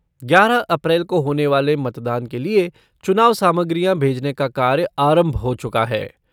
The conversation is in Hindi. ग्यारह अप्रैल को होने वाले मतदान के लिए चुनाव सामग्रियां भेजने का कार्य आरम्भ हो चुका है।